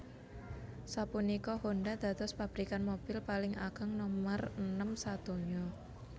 Sapunika Honda dados pabrikan mobil paling ageng nomer enem sadonya